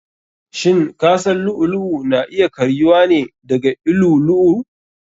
Shin kasan lu'u lu'u na iya karyuwa ne daga llu'u lu'u?